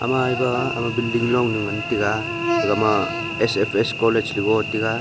ama yeba ag building longnyu ngantaga gama S_F_S college ley gotiga.